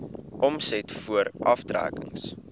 omset voor aftrekkings